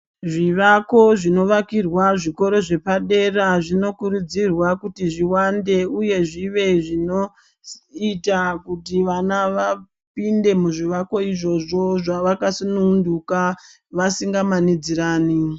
Zvivako zvivakirwa zvikoro zvepadera zvinokurudzirwa kuti zviwande uye zvive zvinoita kuti vana vapinde muzvivakwa izvozvo zvavakasuntuka vasingamanidzirani.